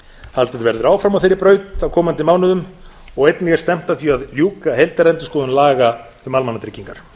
haldið verður áfram á þeirri braut á komandi mánuðum og einnig er stefnt að því að ljúka heildarendurskoðun laga um almannatryggingar